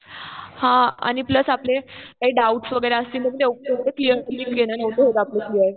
हा आणि प्लस आपले काही डाउट्स वगैरे असतील तर ते नव्हते होत आपले क्लियर.